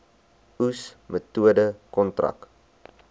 oes metode kontrak